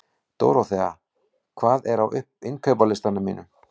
Dóróþea, hvað er á innkaupalistanum mínum?